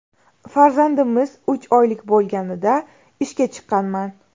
Farzandimiz uch oylik bo‘lganida ishga chiqqanman.